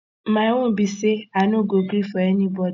my own be say i no go gree for anybody